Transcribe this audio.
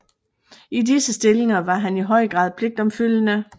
I disse stillinger var han i høj grad pligtopfyldende